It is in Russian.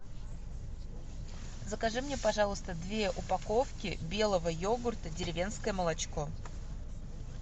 закажи мне пожалуйста две упаковки белого йогурта деревенское молочко